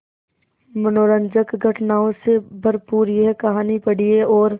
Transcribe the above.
मनोरंजक घटनाओं से भरपूर यह कहानी पढ़िए और